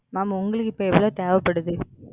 Ma'am உங்களுக்கு இப்போ எவ்வளவு தேவைப்படுது?